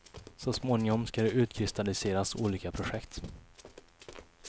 Så småningom ska det utkristalliseras olika projekt.